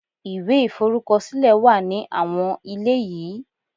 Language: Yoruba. Ìwé iforukosile wa ní àwọn ilé yìí.